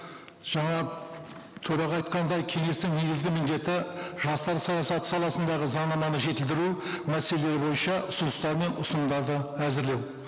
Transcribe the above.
жаңа төраға айтқандай кеңестің негізгі міндеті жастар саясаты саласындағы заңнаманы жетілдіру мәселелері бойынша ұсыныстар мен ұсынымдарды әзірлеу